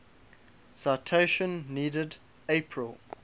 citation needed april